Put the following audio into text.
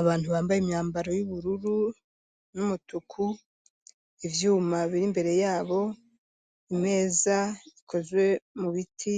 Abantu bambaye imyambaro y'ubururu n'umutuku ivyuma biri mbere yabo, imeza ikozwe mu biti,